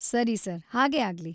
ಸರಿ ಸರ್‌, ಹಾಗೇ ಆಗ್ಲಿ.